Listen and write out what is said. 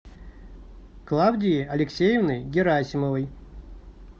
клавдией алексеевной герасимовой